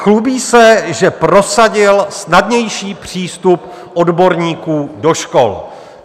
Chlubí se, že prosadil snadnější přístup odborníků do škol.